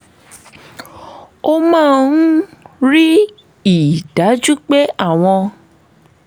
ó máa ń rí i dájú pé awọ́n